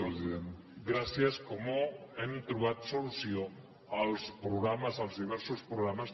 gràcies com hem trobat solució per als programes els diversos programes